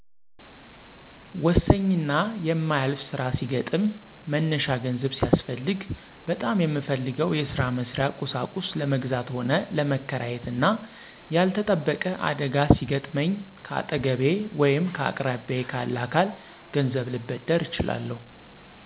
ወሰኚና የማያልፍ ስራ ሲገጥም መነሻ ገንዘብ ሲያስፈልግ ÷በጣም የምፈልገው የስራ መስርያ ቁሳቁስ ለመግዛት ሆነ ለመከራየት እና ያልተጠበቀ አደጋ ሲገጥመኚ ከአጠገቤ ወይም ከአቅራቢያየ ካለ አካል ገንዘብ ልበደር እችላለሁ።